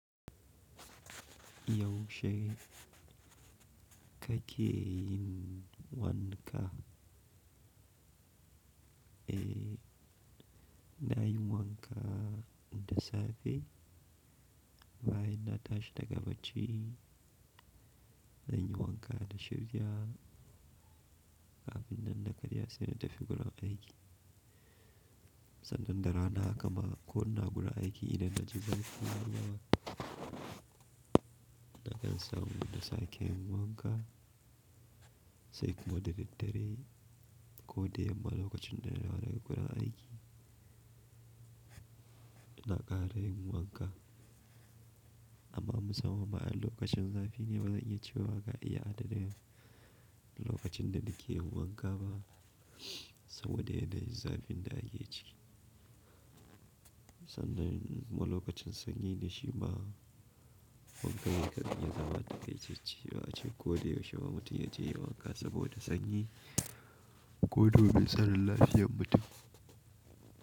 Yaushe kake yin wanka? Eh, i na yin wanka da safe bayan na tashi daga bacci. Zan yi wanka na shirya kafin nan na karya sai na tafi gurin aiki. Sannan da rana haka ma ko na gurin aiki idan na ji zafi yayi yawa. Na kan samu na sake yin wanka sai kuma da daddare ko da yamma lokacin da na dawo daga gurin aiki. Na ƙara yin wanka. Amma musamman ma a lokacin zafi ne bazan iya cewa ga iya adadin lokacin da nike yin wanka ba saboda yanayin zafin da ake ciki. Sannan ma lokacin sanyi ne shi ma wankan ya kan iya zama taƙaitacce ba ace ko da yaushe ba mutum ya je yayi wanka saboda sanyi ko domin tsarin lafiyar mutum.